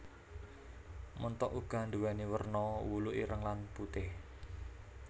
Ménthok uga nduwèni werna wulu ireng lan putih